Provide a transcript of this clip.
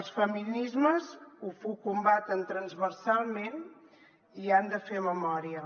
els feminismes ho combaten transversalment i han de fer memòria